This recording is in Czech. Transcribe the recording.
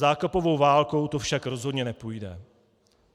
Zákopovou válkou to však rozhodně nepůjde.